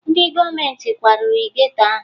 Ndị gọọmenti kwariri geto ahụ